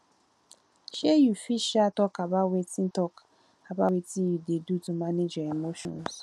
um you fit um talk about wetin talk about wetin you dey do to manage your emotions